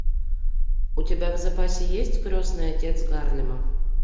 у тебя в запасе есть крестный отец гарлема